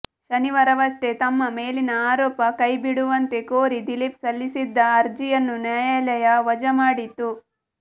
ಶನಿವಾರವಷ್ಟೇ ತಮ್ಮ ಮೇಲಿನ ಆರೋಪ ಕೈಬಿಡುವಂತೆ ಕೋರಿ ದಿಲೀಪ್ ಸಲ್ಲಿಸಿದ್ದ ಅರ್ಜಿಯನ್ನು ನ್ಯಾಯಾಲಯ ವಜಾ ಮಾಡಿತ್ತು